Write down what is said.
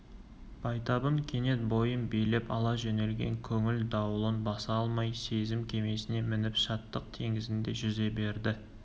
байтабын кенет бойын билеп ала жөнелген көңіл дауылын баса алмай сезім кемесіне мініп шаттық теңізінде жүзе берді